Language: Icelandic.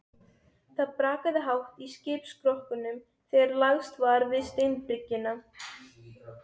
Það brakaði hátt í skipsskrokknum þegar lagst var við steinbryggjuna.